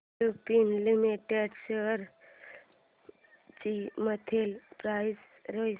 Lupin limited shares ची monthly price range